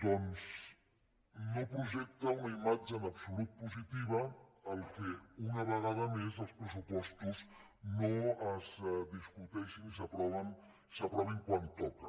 doncs no projecta una imatge en absolut positiva que una vegada més els pressupostos no es discuteixin ni s’aprovin quan toca